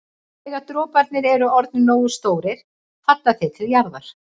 Þegar droparnir eru orðnir nógu stórir falla þeir til jarðar.